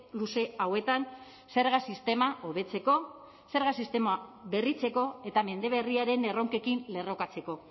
luze hauetan zerga sistema hobetzeko zerga sistema berritzeko eta mende berriaren erronkekin lerrokatzeko